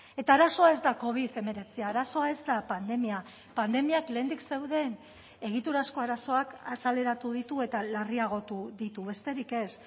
eta arazoa ez da covid hemeretzia arazoa ez da pandemia pandemiak lehendik zeuden egiturazko arazoak azaleratu ditu eta larriagotu ditu besterik ez